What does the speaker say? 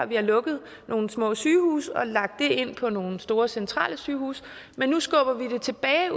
vi har lukket nogle små sygehuse og lagt det ind på nogle store centralsygehuse men nu skubber vi det tilbage